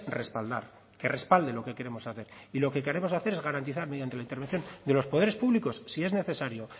respaldar que respalde lo que queremos hacer y lo que queremos hacer es garantizar mediante la intervención de los poderes públicos si es necesario